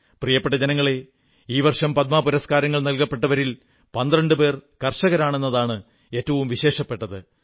പ്രിയപ്പെട്ട ജനങ്ങളേ ഈ വർഷം പത്മ പുരസ്കാരങ്ങൾ നൽകപ്പെട്ടവരിൽ 12 പേർ കർഷകരാണ് എന്നതാണ് ഏറ്റവും വിശേഷപ്പെട്ടത്